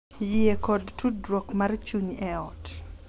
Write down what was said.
Yie kod tudruok mar chuny e ot